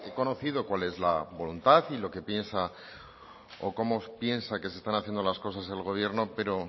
conocido cuál es la voluntad o cómo piensa que se están haciendo las cosas el gobierno pero